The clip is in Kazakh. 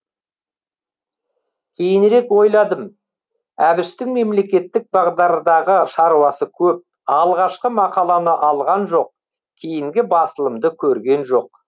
кейінірек ойладым әбіштің мемлекеттік бағдардағы шаруасы көп алғашқы мақаланы алған жоқ кейінгі басылымды көрген жоқ